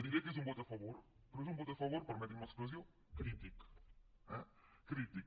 diré que és un vot a favor però és un vot a favor permetin me l’expressió crític eh crític